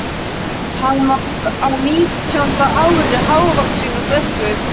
Hann var á nítjánda ári, hávaxinn og sterkur.